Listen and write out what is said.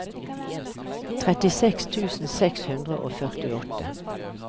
trettiseks tusen seks hundre og førtiåtte